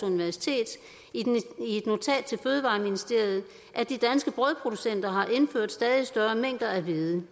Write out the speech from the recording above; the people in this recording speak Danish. universitet i et notat til fødevareministeriet at de danske brødproducenter har indført stadig større mængder af hvede